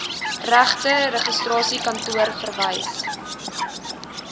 regte registrasiekantoor verwys